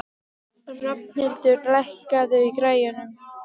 Rafnhildur, lækkaðu í græjunum.